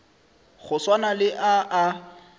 go swana le a a